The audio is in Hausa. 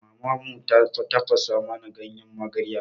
Maman mu ta tafasa mana ganyen magarya.